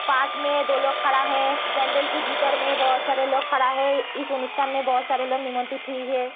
पास में दो लोग खड़ा है पेंडल के भीतर में बहुत सारे लोग खड़ा है इस अनुष्ठान में बहुत सारी लोग निमंत्रित हुई है।